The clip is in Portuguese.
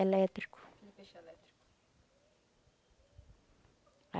Elétrico. Um peixe elétrico